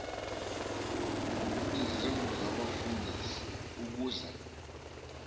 izindlu zabefundisi ukuze